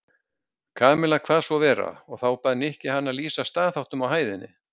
Kamilla kvað svo vera og þá bað Nikki hana að lýsa staðháttum á hæðinni.